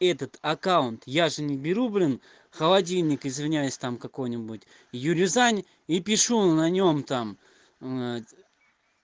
этот аккаунт я же не беру блин холодильник извиняюсь там какой-нибудь юрезань и пишу на нём там